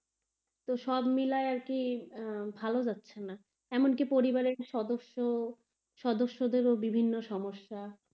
তো সব মিলায়ে আর কি ভালো যাচ্ছে না, এমনকি পরিবারের সদস্য, সদস্যদেরও বিভিন্ন সমস্যা.